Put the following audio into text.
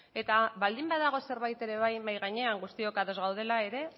eta baldin badago zerbait ere bai mahai gainean guztiok ados gaudela ere